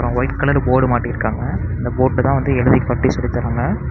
White colour board மாட்டிருக்காங்க அந்த போர்ட்ல தான் வந்து எழுதி காட்டி சொல்லித்தராங்க.